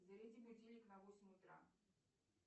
заведи будильник на восемь утра